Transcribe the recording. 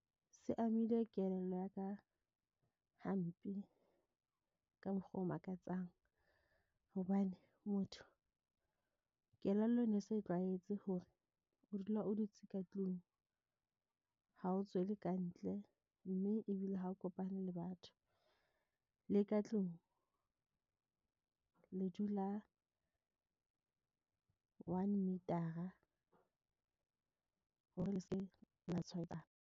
Se amile kelello ya ka hampe ka mokgwa o makatsang. Hobane motho kelello ne se tlwaetse hore o dula o dutse ka tlung ha o tswele ka ntle. Mme ebile ha o kopane le batho le ka tlung le dula one meter-a hore le ske la tshwaetsana.